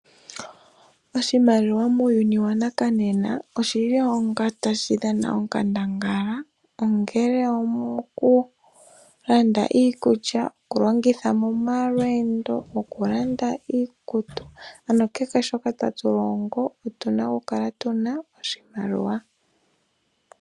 Oahimaliwa muuyuni wa nakanena oshi li onga ta shi dhana onkandangala, ongele omo ku landa iikulya, okulongitha momalweendo, okulanda iikutu. Ano kehe shoka ta tu longo, otu na okukala tuna oshimaliwa.